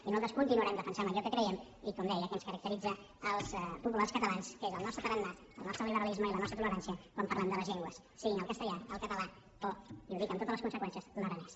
i nosaltres continuarem defensant allò que creiem i com deia que ens caracteritza als populars catalans que és el nostre tarannà el nostre liberalisme i la nostra tolerància quan parlem de les llengües siguin el castellà el català o i ho dic amb totes les conseqüències l’aranès